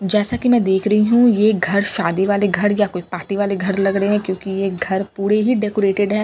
जैसा की मैं देख रही हूँ ये घर शादी वाले घर या कोई पार्टी वाले घर लग रहे हैं क्यों की ये घर पूरे ही डेकोरेटेड हैं अ --